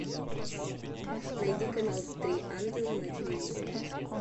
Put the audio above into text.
найди канал три ангела на телевизоре